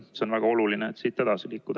See on väga oluline, et siit edasi liikuda.